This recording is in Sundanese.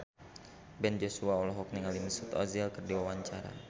Ben Joshua olohok ningali Mesut Ozil keur diwawancara